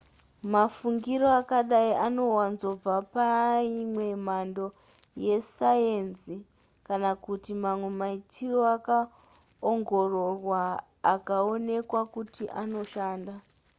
mafungiro akadai anowanzobva paimwe mhando yesayenzi kana kuti mamwe maitiro akaongororwa akaonekwa kuti anoshanda